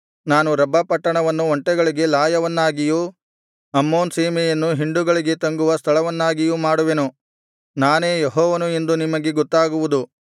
ನಾನು ರಬ್ಬಾ ಪಟ್ಟಣವನ್ನು ಒಂಟೆಗಳಿಗೆ ಲಾಯವನ್ನಾಗಿಯೂ ಅಮ್ಮೋನ್ ಸೀಮೆಯನ್ನು ಹಿಂಡುಗಳಿಗೆ ತಂಗುವ ಸ್ಥಳವನ್ನಾಗಿಯೂ ಮಾಡುವೆನು ನಾನೇ ಯೆಹೋವನು ಎಂದು ನಿಮಗೆ ಗೊತ್ತಾಗುವುದು